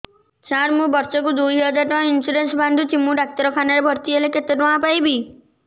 ସାର ମୁ ବର୍ଷ କୁ ଦୁଇ ହଜାର ଟଙ୍କା ଇନ୍ସୁରେନ୍ସ ବାନ୍ଧୁଛି ମୁ ଡାକ୍ତରଖାନା ରେ ଭର୍ତ୍ତିହେଲେ କେତେଟଙ୍କା ପାଇବି